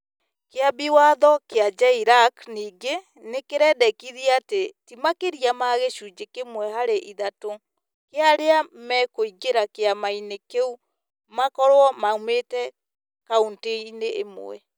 Kĩambi watho kĩa JLAC ningĩ nĩ kĩrendekithia atĩ ti makĩria ma gĩcunjĩ kĩmwe harĩ ithatũ kĩa arĩa mekũingĩra kĩama-inĩ kĩu makorũo maumĩtĩ kauntĩ-inĩ ĩmwe.